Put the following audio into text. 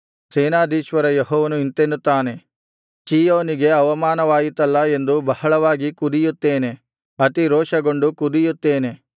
ಸೇನಾಧೀಶ್ವರ ಯೆಹೋವನು ಇಂತೆನ್ನುತ್ತಾನೆ ಚೀಯೋನಿಗೆ ಅವಮಾನವಾಯಿತಲ್ಲಾ ಎಂದು ಬಹಳವಾಗಿ ಕುದಿಯುತ್ತೇನೆ ಅತಿರೋಷಗೊಂಡು ಕುದಿಯುತ್ತೇನೆ